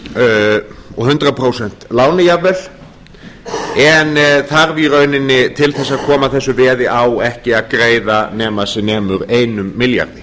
húsnæðisstjórnarlánum og hundrað prósent láni jafnvel en þarf í rauninni til að koma þessu veði á ekki að greiða nema sem nemur einum milljarði